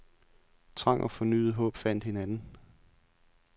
Trang og fornyet håb fandt hinanden.